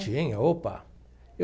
Tinha, opa.